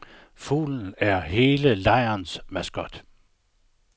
Fuglen er hele lejrens maskot.